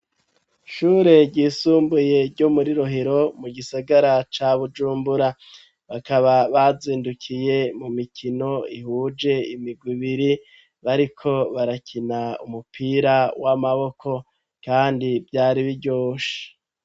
Shure ryisumbuye ryo muri rohiro mu gisagara ca bujumbura bakaba bazindukiye mu mikino ihuje imigwa ibiri bariko barakina umupira w'amaboko, kandi vyari biryoshe.